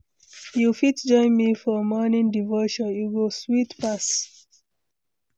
You fit join me for morning devotion, e go sweet pass.